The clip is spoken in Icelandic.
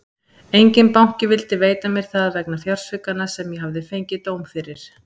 Enginn banki vildi veita mér það vegna fjársvikanna sem ég hafði fengið dóm fyrir.